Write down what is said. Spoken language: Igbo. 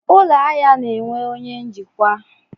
Ụlọ ahịa na-enwe onye njikwa.